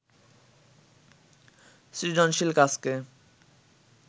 সৃজনশীল কাজকে